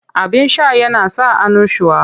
Abin sha yana sa annushuwa.